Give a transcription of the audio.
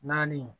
Naani